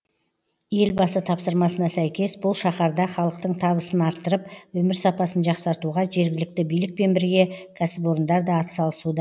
елбасы тапсырмасына сәйкес бұл шаһарда халықтың табысын арттырып өмір сапасын жақсартуға жергілікті билікпен бірге кәсіпорындар да атсалысуда